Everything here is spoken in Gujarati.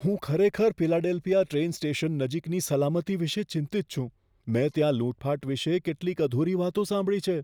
હું ખરેખર ફિલાડેલ્ફિયા ટ્રેન સ્ટેશન નજીકની સલામતી વિશે ચિંતિત છું, મેં ત્યાં લૂંટફાટ વિશે કેટલીક અધૂરી વાતો સાંભળી છે.